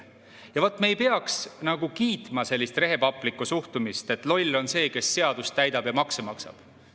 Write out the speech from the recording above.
Ja vot, me ei peaks nagu kiitma sellist rehepaplikku suhtumist, et loll on see, kes seadust täidab ja makse maksab.